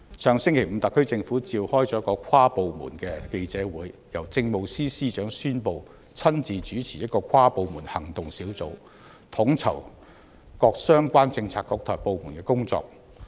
上星期五，特區政府召開記者會，由政務司司長宣布親自主持一個跨部門行動小組，統籌各相關政策局和部門的工作。